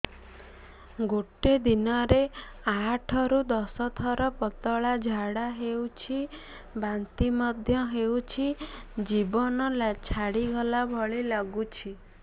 ଗୋଟେ ଦିନରେ ଆଠ ରୁ ଦଶ ଥର ପତଳା ଝାଡା ହେଉଛି ବାନ୍ତି ମଧ୍ୟ ହେଉଛି ଜୀବନ ଛାଡିଗଲା ଭଳି ଲଗୁଛି